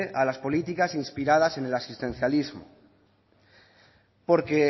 a las políticas inspiradas en el asistencialismo porque